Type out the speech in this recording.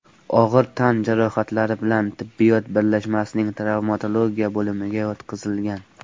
og‘ir tan jarohatlari bilan tibbiyot birlashmasining travmatologiya bo‘limiga yotqizilgan.